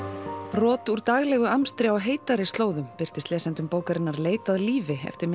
brot úr daglegum amstri á heitari slóðum birtast lesendum bókarinnar leit að lífi eftir